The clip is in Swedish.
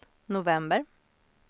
november